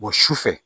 su fɛ